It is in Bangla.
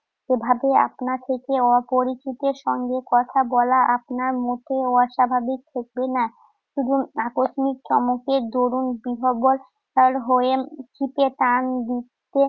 যেভাবে আপনা থেকে অপরিচিতের সঙ্গে কথা বলা আপনার মোটেও অস্বাভাবিক ঠেকবে না। শুধু উম আকস্মিক চমকের দরুণ বিহ্বল হল হয়ে উম ছিপে টান দিচ্ছে।